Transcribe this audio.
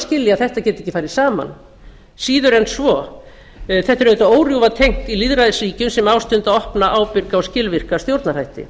skilja að þetta geti ekki farið saman síður en svo þetta er auðvitað órjúfa tengt í lýðræðisríkjum sem ástunda opna ábyrga og skilvirka stjórnarhætti